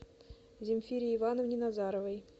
земфире ивановне назаровой